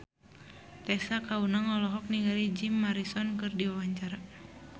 Tessa Kaunang olohok ningali Jim Morrison keur diwawancara